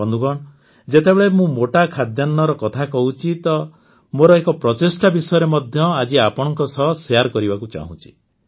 ବନ୍ଧୁଗଣ ଯେତେବେଳେ ମୁଁ ମୋଟା ଖାଦ୍ୟାନ୍ନର କଥା କହୁଛି ତ ମୋର ଏକ ପ୍ରଚେଷ୍ଟା ବିଷୟରେ ମଧ୍ୟ ଆଜି ଆପଣଙ୍କ ସହ ସେୟାର୍ କରିବାକୁ ଚାହୁଁଛି